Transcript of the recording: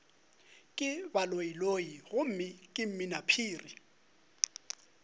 ke baloiloi gomme ke mminaphiri